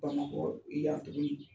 Bamakɔ y'an wele.